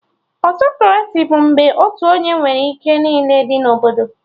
Autokraci bụ mgbe otu onye nwere ike niile dị na Obodo